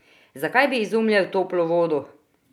Zakaj bi izumljal toplo vodo?